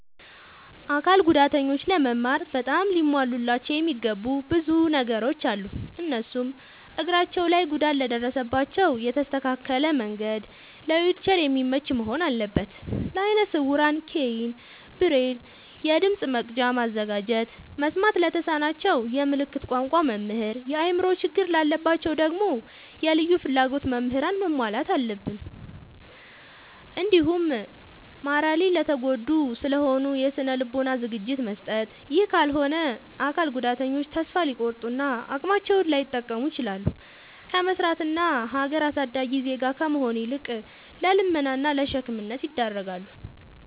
አካል ጉዳተኞች ለመማር በጣም ሊሟሉላቸው የሚገቡ ብዙ ነገሮ አሉ። እነሱም፦ እግራቸው ላይ ጉዳት ለደረሰባቸው የተስተካከለ መንድ ለዊልቸር የሚመች መሆን አለበት። ለአይነ ስውራን ኬይን፣ ብሬል፤ የድምፅ መቅጃ ማዘጋጀት፤ መስማት ለተሳናቸው የምልክት ቋንቋ መምህር፤ የአእምሮ ችግር ላለባቸው ደግሞ የልዩ ፍላጎት ምህራንን ማሟላት አለብትን። እንዲሁም ማራሊ የተጎዱ ስለሆኑ የስነ ልቦና ዝግጅት መስጠት። ይህ ካልሆነ አካል ጉዳተኞች ተሰፋ ሊቆርጡ እና አቅማቸውን ላይጠቀሙ ይችላሉ። ከመስራት እና ሀገር አሳዳጊ ዜጋ ከመሆን ይልቅ ለልመና እና ለሸክምነት ይዳረጋሉ።